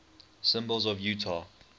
symbols of utah